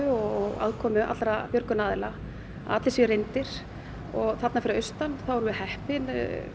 og aðkomu allra björgunaraðila að allir séu reyndir og þarna fyrir austan erum við heppin